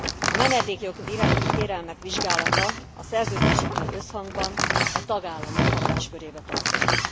A menedékjog iránti kérelmek vizsgálata a Szerződésekkel összhangban a tagállamok hatáskörébe tartozik.